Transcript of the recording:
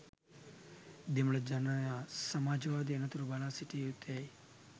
දෙමළ ජනයා සමාජවාදය එනතුරු බලා සිටිය යුත්තේ ඇයි?